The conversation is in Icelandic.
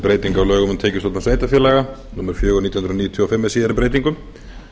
lögum um tekjustofna sveitarfélaga númer fjögur nítján hundruð níutíu og fimm með síðari breytingum